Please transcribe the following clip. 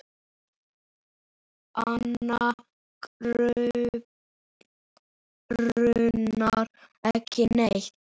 Hana grunar ekki neitt.